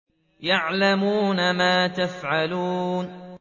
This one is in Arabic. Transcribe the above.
يَعْلَمُونَ مَا تَفْعَلُونَ